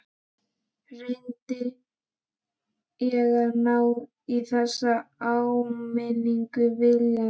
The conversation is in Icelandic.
Reyndi ég að ná í þessa áminningu viljandi?